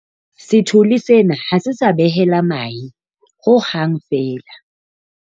sethole sena ha se sa behela mahe ho hang feela